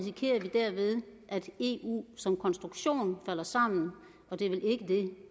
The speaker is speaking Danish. derved at eu som konstruktion falder sammen